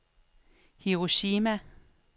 Hiroshima